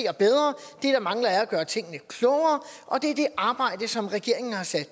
er mangler er at gøre tingene klogere og det er det arbejde som regeringen har sat